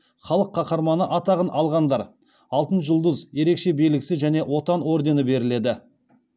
халық қаһарманы атағын алғандарға алтын жұлдыз ерекше белгісі және отан ордені беріледі